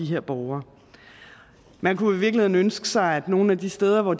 her borgere man kunne i virkeligheden ønske sig at nogle af de steder hvor